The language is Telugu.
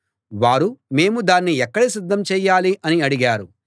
వారు మేము దాన్ని ఎక్కడ సిద్ధం చేయాలి అని అడిగారు